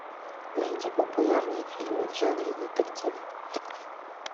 найди популярные фильмы в жанре детектив